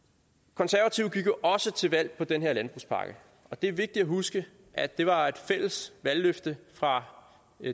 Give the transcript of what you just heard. konservative gik jo også til valg på den her landbrugspakke og det er vigtigt at huske at det var et fælles valgløfte fra